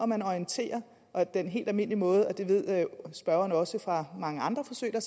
man orienterer og den helt almindelige måde det ved spørgeren også fra mange andre forsøg der